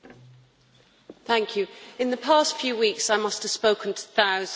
In the past few weeks I must have spoken to thousands of voters in the UK.